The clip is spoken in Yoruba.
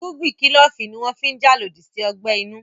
Irúgbìn kílòfù ní wọ́n fi n jà lòdì sí ọgbẹ́ inú